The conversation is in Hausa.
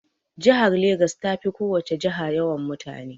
Jihar Legas ta fi ko wace jiha yawan mutane.